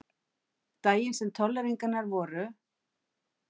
Daginn sem tolleringarnar voru.